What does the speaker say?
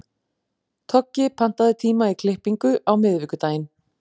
Toggi, pantaðu tíma í klippingu á miðvikudaginn.